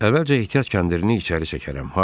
Əvvəlcə ehtiyat kəndirini içəri çəkərəm.